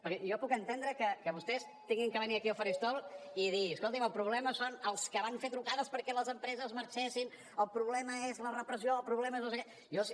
perquè jo puc entendre que vostès hagin de venir aquí al faristol i dir escolti’m el problema són els que van fer trucades perquè les empreses marxessin el problema és la repressió el problema és no sé què